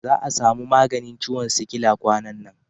Za a samu maganin ciwon sikila kwanan nan.